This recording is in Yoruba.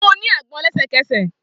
Fun u agbon lẹsẹkẹsẹ!